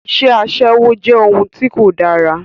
Iṣẹ́ Aṣẹ́wó jẹ́ ohun tí kò dára